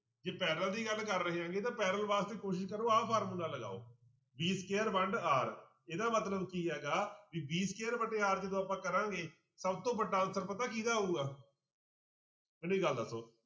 ਜੇ parallel ਦੀ ਗੱਲ ਕਰ ਰਹੇ ਹੈਗੇ ਤਾਂ parallel ਵਾਸਤੇ ਕੋਸ਼ਿਸ਼ ਕਰੋ ਆਹ ਫਾਰਮੁਲਾ ਲਗਾਓ v square ਵੰਡ r ਇਹਦਾ ਮਤਲਬ ਕੀ ਹੈਗਾ ਵੀ v square ਵਟੇ r ਜਦੋਂ ਆਪਾਂ ਕਰਾਂਗੇ ਸਭ ਤੋਂ ਵੱਡਾ ਉੱਤਰ ਪਤਾ ਕਿਹਦਾ ਆਊਗਾ ਮੈਨੂੰ ਇਕ ਗੱਲ ਦੱਸੋ